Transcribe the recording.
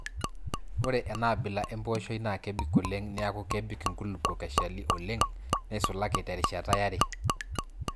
Ore enaabila empooshoi naa kebik oleng neeku kebik nkulupuok eshali oleng neisulaki terishata yare.